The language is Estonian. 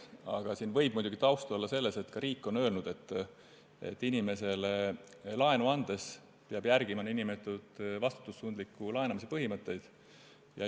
Aga siin võib taustaks olla muidugi see, et ka riik on öelnud, et inimesele laenu andes peab järgima n-ö vastutustundliku laenamise põhimõtteid.